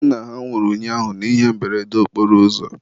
nna ha nwụrụ ụnyaahụ n'ihe mberede okporoụzọ.